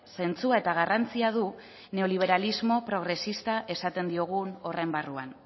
zentzua eta garrantzia du neoliberalismo progresista esaten diogun horren barruan